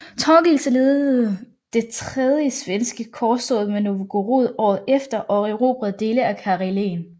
Torgils ledede det tredje svenske korstog mod Novgorod året efter og erobrede dele af Karelen